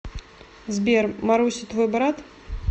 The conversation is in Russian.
сбер маруся твой брат